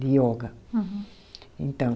De yoga. Uhum. Então